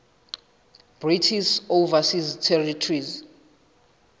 british overseas territories